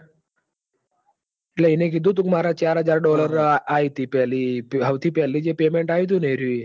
ઇ ને કીધું તું ક માર ચાર હાજર dollar આયીતી પેલી હવ થી પેલી payment